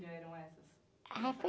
eram essas?h, foi...